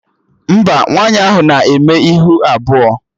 Mba, nwaanyị ahụ na-eme ihu abụọ